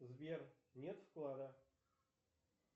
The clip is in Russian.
сбер нет вклада